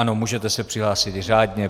Ano, můžete se přihlásit řádně.